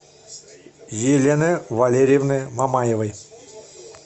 елены валерьевны мамаевой